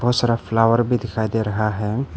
उस तरफ फ्लावर भी दिखाई दे रहा है।